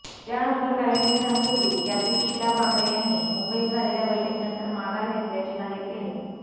त्यानंतर काही दिवसांपूर्वी यातील शीला भाकरे यांनी मुंबईत झालेल्या बैठकीनंतर माघार घेतल्याचे जाहीर केले